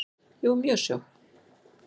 Jú, mjög svo.